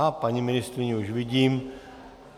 A paní ministryni už vidím.